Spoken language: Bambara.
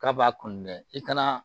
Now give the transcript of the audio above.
K'a b'a kun dɛ i kana